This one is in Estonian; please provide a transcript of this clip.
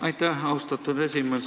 Aitäh, austatud esimees!